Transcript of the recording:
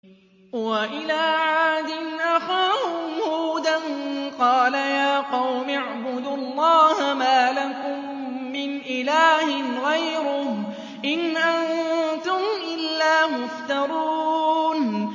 وَإِلَىٰ عَادٍ أَخَاهُمْ هُودًا ۚ قَالَ يَا قَوْمِ اعْبُدُوا اللَّهَ مَا لَكُم مِّنْ إِلَٰهٍ غَيْرُهُ ۖ إِنْ أَنتُمْ إِلَّا مُفْتَرُونَ